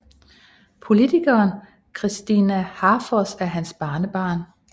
Politikeren Kristina Háfoss er hans barnebarn